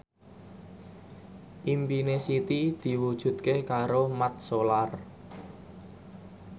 impine Siti diwujudke karo Mat Solar